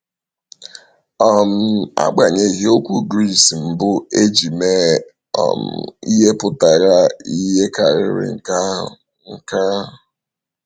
um Agbanyeghị, okwu Gris mbụ e ji mee um ihe pụtara ihe um karịrị nke ahụ. nke ahụ.